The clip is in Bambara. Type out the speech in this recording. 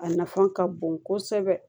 A nafan ka bon kosɛbɛ